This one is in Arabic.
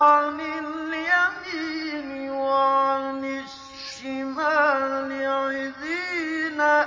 عَنِ الْيَمِينِ وَعَنِ الشِّمَالِ عِزِينَ